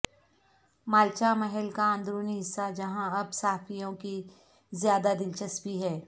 مالچا محل کا اندرونی حصہ جہاں اب صحافیوں کی زیادہ دلچسپی ہے